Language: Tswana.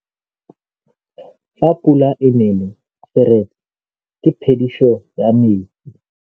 Fa pula e nelê serêtsê ke phêdisô ya metsi.